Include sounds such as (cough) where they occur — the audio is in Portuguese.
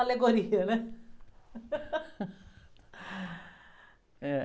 Alegoria, né? (laughs)